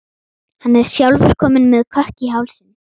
Hann er sjálfur kominn með kökk í hálsinn.